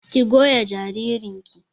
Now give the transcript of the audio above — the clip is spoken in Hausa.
Ki goya jaririn ki!